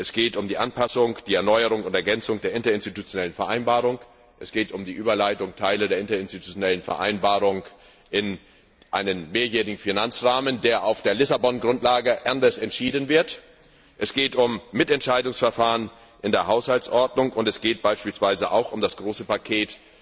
Es geht um die Anpassung, die Erneuerung und die Ergänzung der interinstitutionellen Vereinbarung, es geht um die Überleitung von Teilen der interinstitutionellen Vereinbarung in einen mehrjährigen Finanzrahmen, der auf der Lissabon Grundlage anders entschieden wird, es geht um Mitentscheidungsverfahren in der Haushaltsordnung, und es geht beispielsweise auch um das große Paket